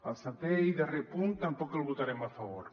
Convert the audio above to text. el setè i darrer punt tampoc el votarem a favor